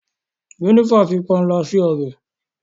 Jenifer fí panla si ọbẹ.